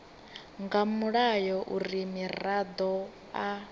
nga mulayo uri muraḓo a